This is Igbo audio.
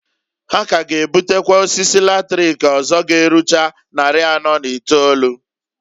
Ha k'aga ebutekwa osisi latrik ọzọ g'erucha nnarị anọọ na itolu.